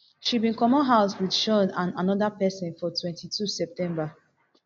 she bin comot house wit shaun and anoda pesin for twenty-two september